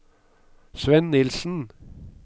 Svend Nilssen